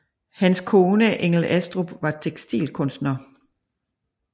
Hans kone Engel Astrup var tekstilkunstner